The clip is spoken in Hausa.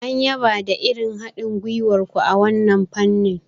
An yaba da irin haɗin gwiwar ku a wannan fannin.